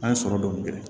An ye sɔrɔ dɔɔni kɛ